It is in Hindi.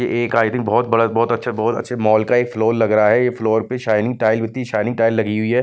ये एक आई थिंक बहुत बड़ा-बहुत अच्छे-बहुत अच्छे मॉल का फ्लोर लग रहा है ये फ्लोर पे शायनिंग टाइल इती शायनिंग टाइल लगी हुई है।